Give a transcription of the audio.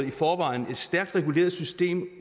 i forvejen et stærkt reguleret system